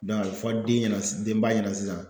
a bɛ fɔ den ɲɛna denba ɲɛna sisan